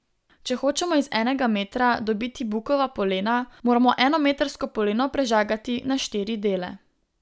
Če hočemo iz enega metra dobiti bukova polena, moramo eno metrsko poleno prežagati na štiri dele.